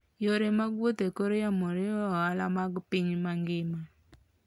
Yore mag wuoth e kor yamo riwo ohala mag piny mangima.